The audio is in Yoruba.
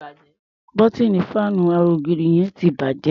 Bọ́tíìnì fáànù ara -ògiri yẹn ti bàjẹ́.